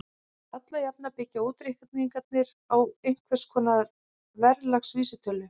Alla jafna byggja útreikningarnir á einhvers konar verðlagsvísitölu.